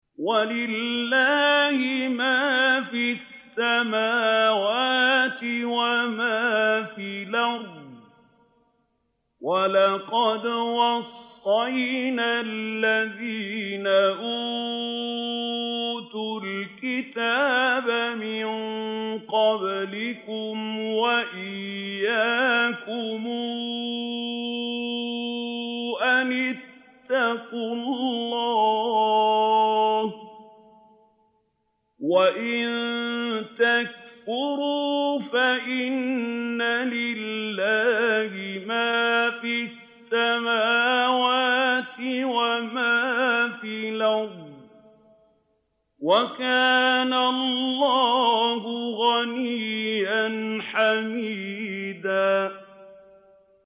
وَلِلَّهِ مَا فِي السَّمَاوَاتِ وَمَا فِي الْأَرْضِ ۗ وَلَقَدْ وَصَّيْنَا الَّذِينَ أُوتُوا الْكِتَابَ مِن قَبْلِكُمْ وَإِيَّاكُمْ أَنِ اتَّقُوا اللَّهَ ۚ وَإِن تَكْفُرُوا فَإِنَّ لِلَّهِ مَا فِي السَّمَاوَاتِ وَمَا فِي الْأَرْضِ ۚ وَكَانَ اللَّهُ غَنِيًّا حَمِيدًا